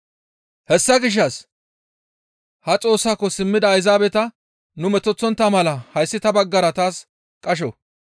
«Hessa gishshas ha Xoossaako simmida Ayzaabeta nu metoththontta mala hayssi ta baggara taas qasho.